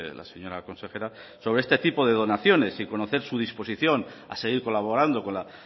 la señora consejera sobre este tipo de donaciones y conocer su disposición a seguir colaborando con la